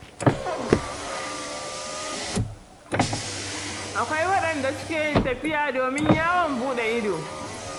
Akwai kuma waɗanda suke yin tafiya domin yawon buɗe ido.